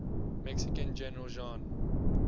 mexican general juan